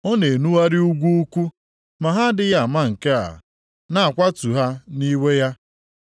Ọ na-enugharị ugwu ukwu ma ha adịghị ama nke a, na-akwatụ ha nʼiwe ya.